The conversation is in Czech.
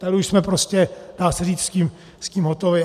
Tady už jsme prostě, dá se říct, s tím hotovi.